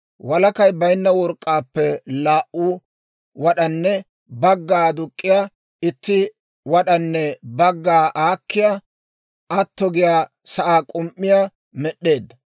Walakay baynna work'k'aappe laa"u wad'anne bagga aduk'k'iyaa, itti wad'anne bagga aakkiyaa atto giyaa sa'aa k'um"iyaa med'd'eedda.